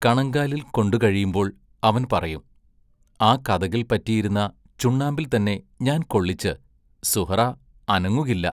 കണങ്കാലിൽ കൊണ്ടു കഴിയുമ്പോൾ അവൻ പറയും: ആ കതകിൽ പറ്റിയിരുന്ന ചുണ്ണാമ്പിൽത്തന്നെ ഞാൻ കൊള്ളിച്ച് സുഹ്റാ അനങ്ങുകില്ല.